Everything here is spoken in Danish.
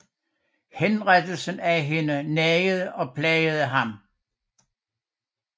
Henrettelsen af hende nagede og plagede ham